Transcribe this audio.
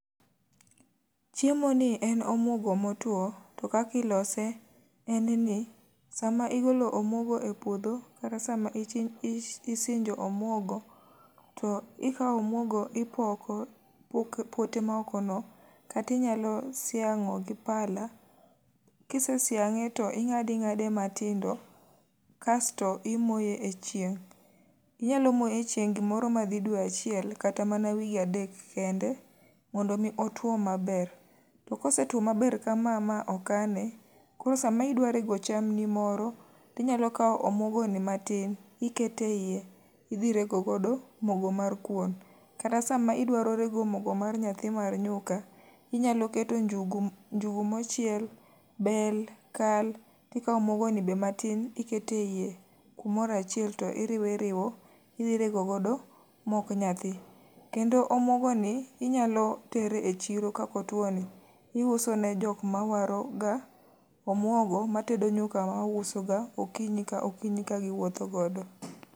Chiemo ni en omwogo motwo, to kakilose en ni. Sama igolo omwogo e puodho kata sama ichi isinjo omwogo to ikawo omwogo ipoko pok pote maoko no. Katinyalo siang'o gi pala, kise siang'e to ing'ad ing'ade matindo kasto imoye e chieng'. Inyalo moye e chieng' gimoro ma dhi dwe achiel kata mana wige adek kende, mondo mi otwo maber. Kosetwo maber kama ma okane, koro sama idwa rego cham ni moro, tinyalo kawo omuogo ni matin, ikete iye. Idhi rego godo mogo mar kuon. Kata sama idwaro rego mogo mar nyathi mar nyuka, inyalo keto njugu njugu mochiel, bel, kal. Tikawo omuogo ni be matin tikete iye kumorachiel tiriwo iriwo, idhi rego godo mok nyathi. Kendo omuogo ni inyalo tere e chiro kako two ni. Iuso ne jok ma waro ga omuogo ma tedo nyuka ma wauso ga okinyi ka okinyi ka giwuotho.